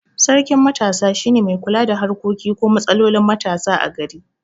Sarkin matasa shine mai kula da harkokin ko matsalolin matasa a gari